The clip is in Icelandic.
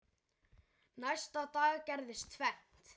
Næsta dag gerðist tvennt.